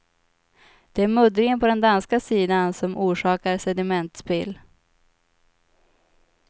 Det är muddringen på den danska sidan som orsakar sedimentspill.